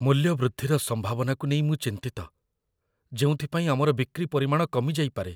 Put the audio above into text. ମୂଲ୍ୟ ବୃଦ୍ଧିର ସମ୍ଭାବନାକୁ ନେଇ ମୁଁ ଚିନ୍ତିତ, ଯେଉଁଥିପାଇଁ ଆମର ବିକ୍ରି ପରିମାଣ କମିଯାଇପାରେ।